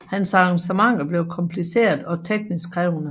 Hans arrangementer blev kompliceret og teknisk krævende